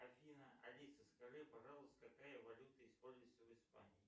афина алиса скажи пожалуйста какая валюта используется в испании